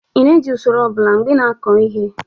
ị na-eji usoro ọ bụla mgbe ị na-akọ ihe?